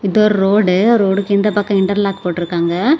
இது ஒரு ரோடு ரோடுக்கு இந்த பக்கம் இன்டர்லாக் போட்டு இருக்காங்க.